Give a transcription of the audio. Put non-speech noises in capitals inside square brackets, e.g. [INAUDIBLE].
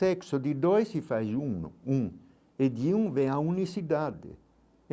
Sexo de dois se faz [UNINTELLIGIBLE] um, e de um vem à unicidade.